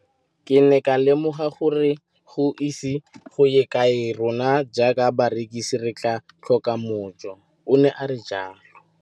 Ke ne ka lemoga gore go ise go ye kae rona jaaka barekise re tla tlhoka mojo, o ne a re jalo.